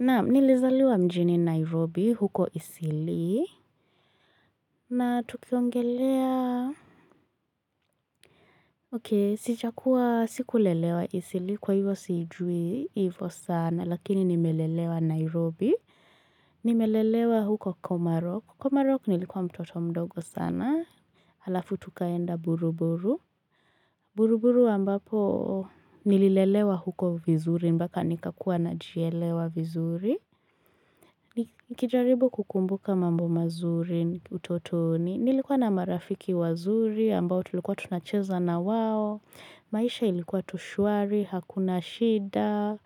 Naam, nilizaliwa mjini Nairobi huko Isili na tukiongelea. Sijakuwa sikulelewa Isili kwa hivyo siijui hivo sana lakini nimelelewa Nairobi. Nimelelewa huko Komarok. Komarok nilikuwa mtoto mdogo sana. Halafu tukaenda buruburu. Buruburu ambapo nililelewa huko vizuri mpaka nikakua najielewa vizuri. Nikijaribu kukumbuka mambo mazuri utotoni Nilikuwa na marafiki wazuri ambao tulikuwa tunacheza na wao maisha ilikuwa tu shwari, hakuna shida,